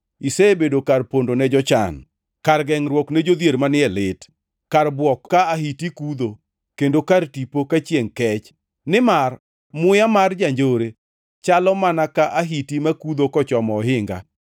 Isebedo kar pondo ne jochan, kar gengʼruok ne jodhier manie lit, kar bwok ka ahiti kudho, kendo kar tipo ka chiengʼ kech. Nimar muya mar janjore chalo mana ka ahiti makudho kochomo ohinga,